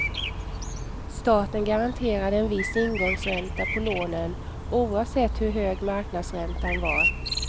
Staten garanterade en viss ingångsränta på lånen, oavsett hur hög marknadsräntan var.